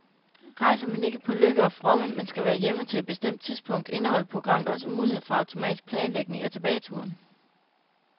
Rejser man ikke på lykke og fromme, men skal være hjemme til et bestemt tidspunkt, indeholder programmet også mulighed for automatisk planlægning af tilbageturen.